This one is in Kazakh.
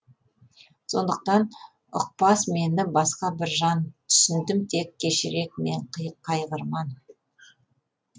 сондықтан ұқпас мені басқа бір жан түсіндім тек кешірек мен қайғырман